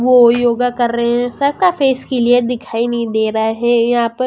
वो योगा कर रहे हैं सर का फेस क्लियर दिखाई नहीं दे रहा है यहां प --